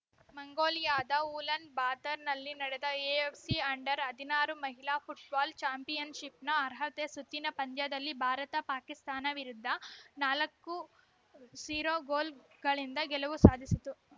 ಮಂಗೋಲಿಯಾದ ಊಲನ್‌ ಬಾತರ್‌ನಲ್ಲಿ ನಡೆದ ಎಎಫ್‌ಸಿ ಅಂಡರ್‌ ಹದಿನಾರು ಮಹಿಳಾ ಫುಟ್ಬಾಲ್‌ ಚಾಂಪಿಯನ್‌ಶಿಪ್‌ನ ಅರ್ಹತಾ ಸುತ್ತಿನ ಪಂದ್ಯದಲ್ಲಿ ಭಾರತ ಪಾಕಿಸ್ತಾನ ವಿರುದ್ಧ ನಾಲ್ಕು ಝೀರೋ ಗೋಲುಗಳಿಂದ ಗೆಲುವು ಸಾಧಿಸಿತು